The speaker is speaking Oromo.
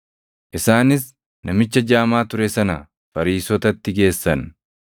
Isaanis namicha jaamaa ture sana Fariisotatti geessan.